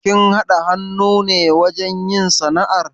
Kun haɗa hannu ne wajen yin sana'ar?